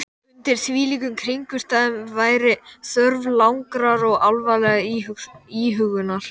Undir þvílíkum kringumstæðum væri þörf langrar og alvarlegrar íhugunar.